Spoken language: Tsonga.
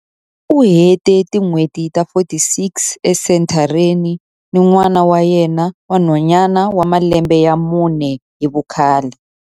U hete tin'hweti ta 46 esenthareni ni n'wana wa yena wa nhwanyana wa malembe ya mune hi vukhale.